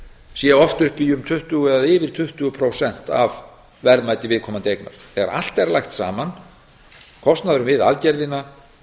sé oft upp í um tuttugu eða yfir tuttugu prósent af verðmæti viðkomandi eignar þegar allt er lagt saman kostnaðurinn við aðgerðina